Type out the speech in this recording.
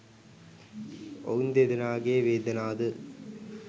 ඔවුන් දෙදෙනාගේ වේදනා ද